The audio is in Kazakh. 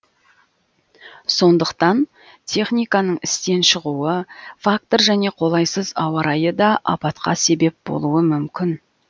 сондықтан техниканың істен шығуы фактор және қолайсыз ауа райы да апатқа себеп болуы мүмкін